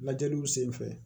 Lajɛliw sen fɛ